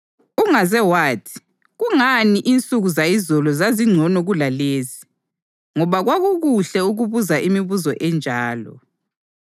Ungaze wathi, “Kungani insuku zayizolo zazingcono kulalezi?” Ngoba kakukuhle ukubuza imibuzo enjalo.